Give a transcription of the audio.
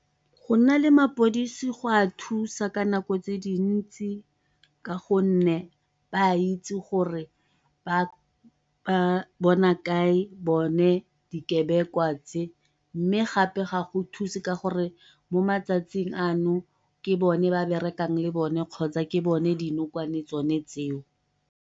Go nna le mapodisi go a thusa ka nako tse dintsi ka gonne ba itse gore ba bona kae bone dikebekwa tse, mme gape ga go thuse ka gore mo matsatsing ano ke bone ba ba brekang le bone kgotsa ke tsone dinokwane tsone tseo.